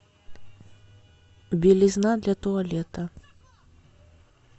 белизна для туалета